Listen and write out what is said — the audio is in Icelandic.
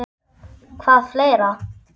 Hvað fleira?